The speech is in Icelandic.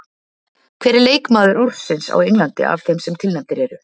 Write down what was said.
Hver er leikmaður ársins á Englandi af þeim sem tilnefndir eru?